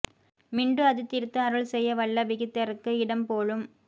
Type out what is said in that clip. மிண்டு அது தீர்த்து அருள் செய்ய வல்ல விகிர்தர்க்கு இடம் போலும்